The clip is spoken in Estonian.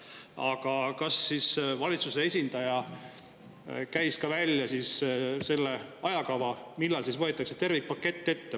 Aga kas valitsuse esindaja käis ka välja selle ajakava, millal tervikpakett ette võetakse?